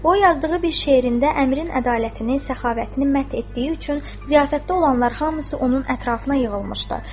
O yazdığı bir şeirində əmirin ədalətini, səxavətini mədh etdiyi üçün ziyafətdə olanlar hamısı onun ətrafına yığılmışdı.